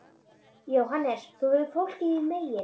JÓHANNES: Þú hefur fólkið þín megin.